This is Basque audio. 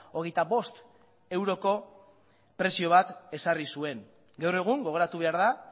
hogeita bost euroko prezio bat ezarri zuen gaur egun gogoratu behar da